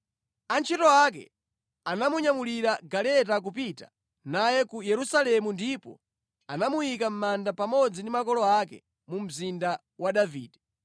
Antchito ake anamunyamulira mʼgaleta kupita naye ku Yerusalemu ndipo anamuyika mʼmanda pamodzi ndi makolo ake mu mzinda wa Davide.